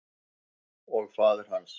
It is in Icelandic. Og faðir hans?